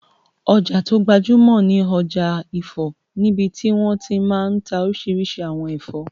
Ọjà tó gbajúmọ̀ ni ọjà ifọ̀ níbití wọ́n ti máa n ta oríṣiríṣi àwọn ẹ̀fọ́